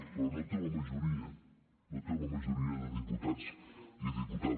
però no té la majoria no té la majoria de diputats i diputades